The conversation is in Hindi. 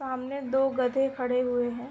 सामने दो गधे खड़े हुए हैं।